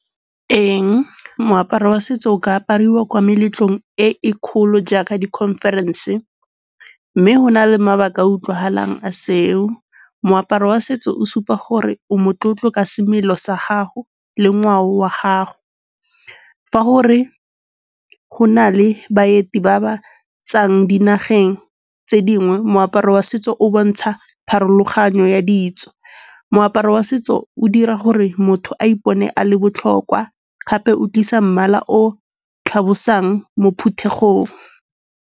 Eng? Moaparo wa setso o ka apariwa kwa meletlong e e kgolo jaaka di-conference-e, mme go na le mabaka a utlwagalang a seo. Moaparo wa setso o supa gore o motlotlo ka semelo sa gago le ngwao wa gago. Fa gore go na le baeti ba ba tswang dinageng tse dingwe, moaparo wa setso o bontsha pharologanyo ya ditso. Moaparo wa setso o dira gore motho a ipone a le botlhokwa gape o tlisa mmala o tlhalosang mo phuthegong.